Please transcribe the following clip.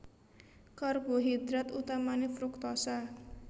Karbohidrat utamané fruktosa